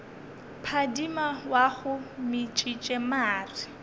phadima wa go metšiša mare